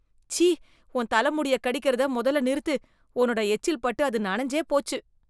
சீ ! உன் தல முடியக் கடிக்கறத மொதல்ல நிறுத்து. உன்னோட எச்சில் பட்டு அது நனஞ்சே போச்சு.